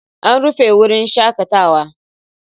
An rufe wurin shakatawa.